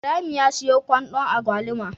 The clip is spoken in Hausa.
Ibrahim ya siyo kwandon agwaluma